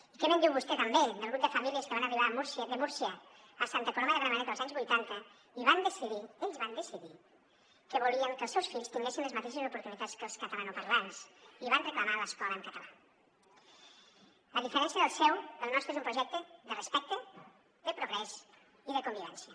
i què me’n diu vostè també del grup de famílies que van arribar de múrcia a santa coloma de gramenet els anys vuitanta i van decidir ells van decidir que volien que els seus fills tinguessin les mateixes oportunitats que els catalanoparlants i van reclamar l’escola en català a diferència del seu el nostre és un projecte de respecte de progrés i de convivència